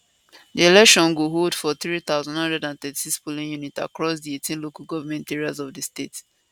di election go hold for 3933 polling units across di 18 local government areas of di state